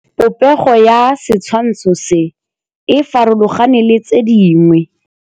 Popêgo ya setshwantshô se, e farologane le tse dingwe.